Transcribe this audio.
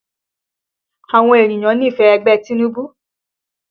Àwọn ènìyàn nífẹ̀ẹ́ ẹgbẹ́ Tinubu